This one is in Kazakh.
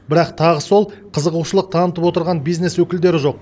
бірақ тағы сол қызығушылық танытып отырған бизнес өкілдері жоқ